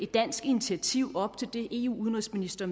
dansk initiativ op til det eus udenrigsministre